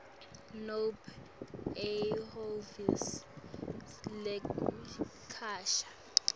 nobe ehhovisi lekucasha